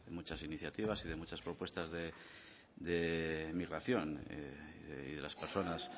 muchas iniciativas y de muchas propuestas de migración y de las personas